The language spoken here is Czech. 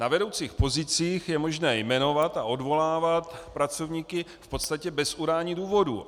Na vedoucích pozicích je možné jmenovat a odvolávat pracovníky v podstatě bez udání důvodu.